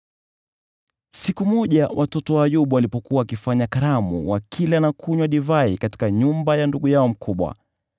Siku moja watoto wa Ayubu walipokuwa wakifanya karamu wakila na kunywa divai katika nyumba ya ndugu yao mkubwa,